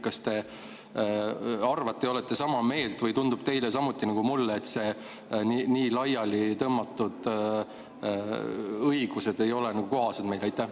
Kas te arvate nii ja olete sama meelt või tundub teile samuti nagu mulle, et nii laiali tõmmatud õigused ei ole kohased?